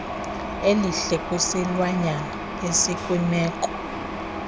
elihle kwisilwanyane esikwimeko